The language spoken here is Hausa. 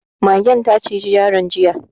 Magen ta ciji yaron jiya.